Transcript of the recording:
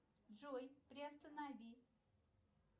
джой приостанови